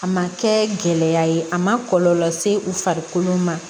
A ma kɛɛ gɛlɛya ye a ma kɔlɔlɔ se u farikolo ma